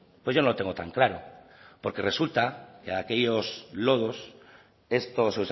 pues yo no lo tengo tan claro porque resulta que de